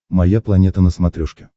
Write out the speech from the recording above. моя планета на смотрешке